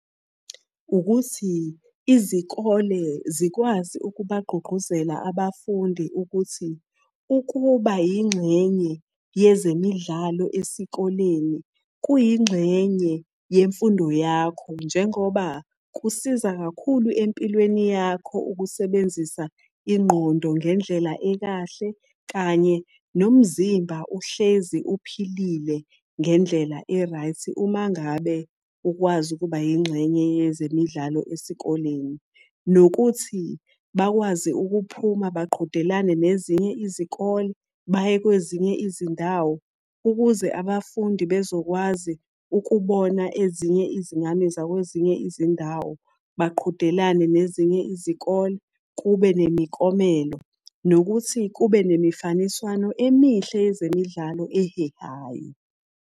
Ukuthi izikole zikwazi ukubagqugquzela abafundi ukuthi, ukuba yingxenye yezemidlalo esikoleni, kuyingxenye yemfundo yakho, njengoba kusiza kakhulu empilweni yakho ukusebenzisa ingqondo ngendlela ekahle kanye nomzimba uhlezi uphilile ngendlela e-right uma ngabe ukwazi ukuba yingxenye yezemidlalo esikoleni. Nokuthi bakwazi ukuphuma baqhudelane nezinye izikole baye kwezinye izindawo, ukuze abafundi bezokwazi ukubona ezinye izingane zakwezinye izindawo. Baqhudelane nezinye izikole, kube nemiklomelo. Nokuthi kube nemifaniswano emihle yezemidlalo ehehayo.